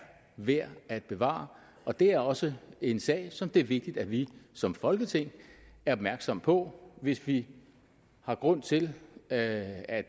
værd at bevare og det er også en sag som det er vigtigt at vi som folketing er opmærksomme på hvis vi har grund til at at